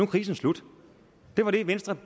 krisen slut det var det venstre